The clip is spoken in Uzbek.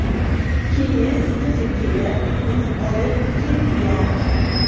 Keyin qizi kelib uni olib ketgan”.